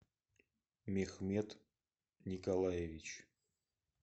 михмед николаевич